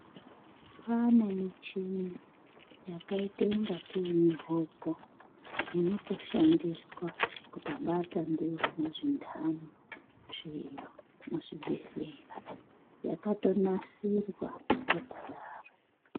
Kwane michina yakaita kungaa tee mihoko inoto shandiswa kutobata ndiwona zvindani zviro mu zvibhedhlera yakato nasirwa yakadaro.